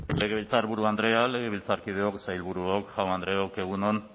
legebiltzarburu andrea legebiltzarkideok sailburuok jaun andreok egun on